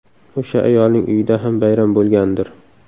O‘sha ayolning uyida ham bayram bo‘lgandir.